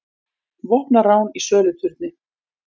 Vopnað rán í söluturni